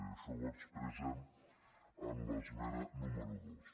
i això ho expressem en l’esmena número dos